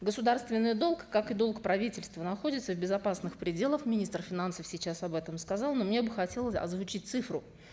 государственный долг как и долг правительства находится в безопасных пределах министр финансов сейчас об этом сказал но мне бы хотелось озвучить цифру